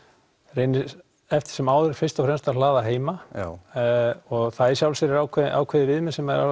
reyni eftir sem áður fyrst að hlaða heima og það í sjálfu sér er ákveðið ákveðið viðmið sem